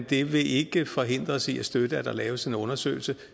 det vil ikke forhindre os i at støtte at der laves en undersøgelse